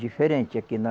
Diferente, aqui na...